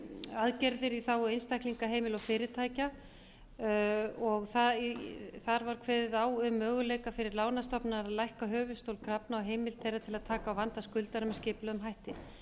aðgerðir í þágu einstaklinga heimila og fyrirtækja og þar var kveðið á um möguleika fyrir lánastofnanir að lækka höfuðstól krafna og heimild þeirra til að taka á vanda skuldara með skipulegum hætti